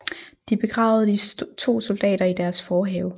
De begravede de to soldater i deres forhave